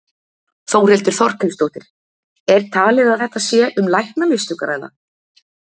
Þórhildur Þorkelsdóttir: Er talið að þetta sé um læknamistök að ræða?